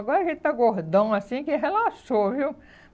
Agora que ele está gordão, assim, que relaxou, viu?